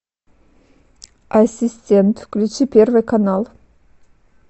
ассистент включи первый канал